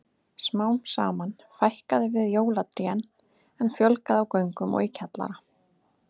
Smám saman fækkaði við jólatrén en fjölgaði á göngum og í kjallara.